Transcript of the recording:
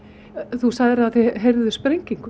þú sagðir að þið heyrðuð sprengingu